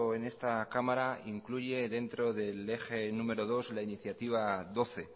en esta cámara incluye dentro del eje número dos la iniciativa doce